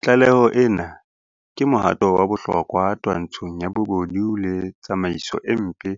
Tlaleho ena ke mohato wa bohlokwa twantshong ya bobodu le tsamaiso e mpe